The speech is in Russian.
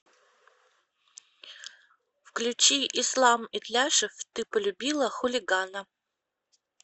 включи ислам итляшев ты полюбила хулигана